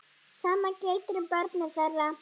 Sama gildir um börnin þeirra.